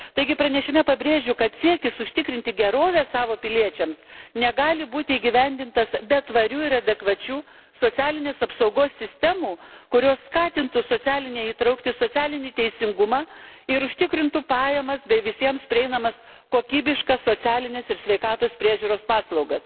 Taigi pranešime pabrėžiu, kad siekis užtikrinti gerovę savo piliečiams negali būti įgyvendintas be tvarių ir adekvačių socialinės apsaugos sistemų, kurios skatintų socialinę įtrauktį, socialinį teisingumą ir užtikrintų pajamas bei visiems prieinamas kokybiškas socialines ir sveikatos priežiūros paslaugas.